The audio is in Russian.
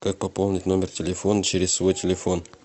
как пополнить номер телефона через свой телефон